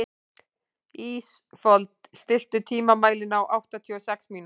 Ísfold, stilltu tímamælinn á áttatíu og sex mínútur.